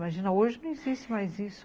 Imagina, hoje não existe mais isso